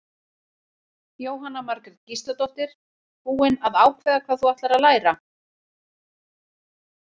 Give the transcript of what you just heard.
Jóhanna Margrét Gísladóttir: Búin að ákveða hvað þú ætlar að læra?